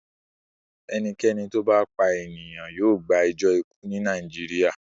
Ẹnikẹ́ni tó bá pa ènìyàn yóò gbẹjọ́ ikú ní Nàìjíríà.